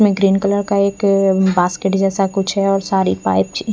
green colour का एक अः बास्केट जैसा कुछ अः सारी पाई छी--